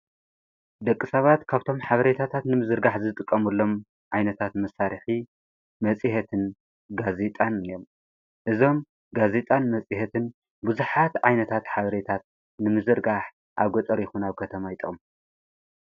ደቂ ሰባት ካብቶም ሓብሬታታት ንምዝርጋሕ ዝጥቀሙሎም ኣይነታት መሳርኺ መጺሀትን ጋዜጣን እዮም እዞም ጋዜጣን መጺሀትን ብዙኃት ዓይነታት ኃብሬታት ንምዝርጋሕ ኣ ጐጠር ይኹናብ ከተማ ይጠቅሙ።